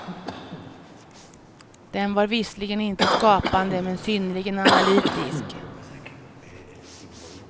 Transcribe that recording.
Den var visserligen inte skapande men synnerligen analytisk.